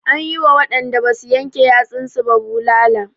An yi wa waɗanda basu yanke yatsun su ba bulala.